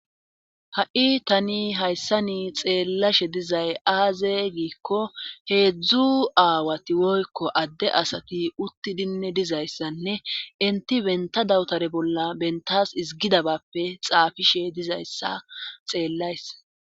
ha7i tani hayssa ni xeellashe dizay aaze giikko heedzdzu aawati woykko adde asati uttidinne dizayssanne inti benta dawutare bolla bentas izgidabappe xaafishe dizayssa xeellays